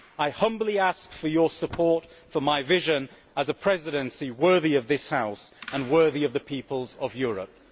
I humbly ask for your support for my vision of a Presidency worthy of this House and worthy of the peoples of Europe.